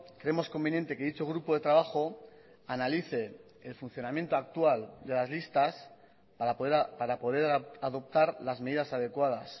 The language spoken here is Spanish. creemos conveniente que dicho grupo de trabajo analice el funcionamiento actual de las listas para poder adoptar las medidas adecuadas